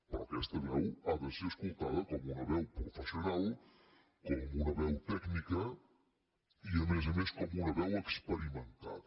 però aquesta veu ha de ser escoltada com una veu professional com una veu tècnica i a més a més com una veu experimentada